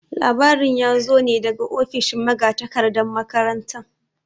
Labarin ya zo ne daga ofishin magatakardan makaranta.